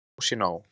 Nóg sé nóg!